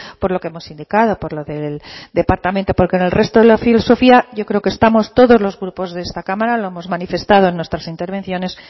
por lo que hemos indicado por lo del departamento porque en el resto de la filosofía yo creo que estamos todos los grupos de esta cámara lo hemos manifestado en nuestras intervenciones